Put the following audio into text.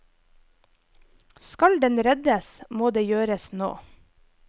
Skal den reddes, må det gjøres nå.